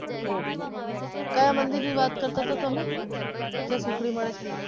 ok કયા મંદિર ની વાત કરતા તમે ત્યાં સુખડી મલે છે.